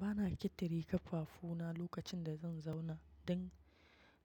Ba na kitire kafafuna lokacin da zan zauna don